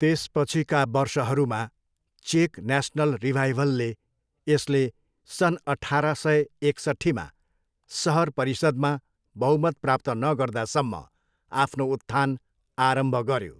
त्यसपछिका वर्षहरूमा, चेक न्यासनल रिभाइभलले यसले सन् अठार सय एकसठ्ठीमा सहर परिषद्मा बहुमत प्राप्त नगर्दासम्म आफ्नो उत्थान आरम्भ गऱ्यो।